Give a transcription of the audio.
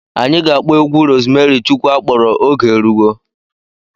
Anyị ga-akpọ egwu Rozmeri Chukwu akpọrọ 'Oge Eruwo'.